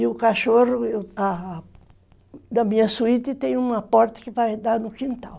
E o cachorro da minha suíte tem uma porta que vai dar no quintal.